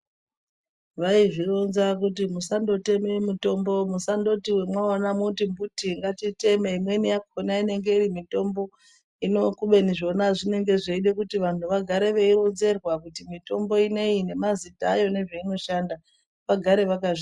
Vaizvironza kuti musandoteme mitombo musangoti wemwaona mwoti mbuti ngatiteme, imweni yakhona inenge iri mitombo hino kubeni zvona zvinenge zveida kuti vanhu vagare veironzerwa kuti mitombo ineyi nemazita ayo nezveinoshanda vagare vakazviziya.